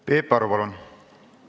Peep Aru, palun!